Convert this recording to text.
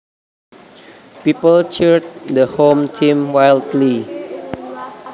People cheered the home team wildly